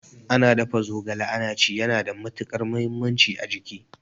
Ana dafa zogala ana ci yana da matukar muhimmanci a jiki